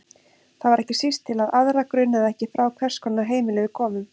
Það var ekki síst til að aðra grunaði ekki frá hvers konar heimili við komum.